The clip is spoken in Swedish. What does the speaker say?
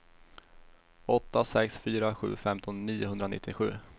åtta sex fyra sju femton niohundranittiosju